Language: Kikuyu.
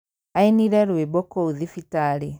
Ainire rwĩmbo kũu thibitarĩ